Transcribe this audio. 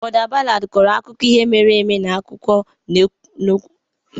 Border ballad kọrọ akụkọ ihe mere eme na esemokwu n'akụkụ oke ala.